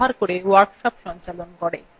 কথ্য tutorialsগুলি ব্যবহার করে workshop সঞ্চালন করে